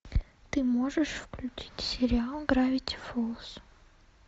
ты можешь включить сериал гравити фолз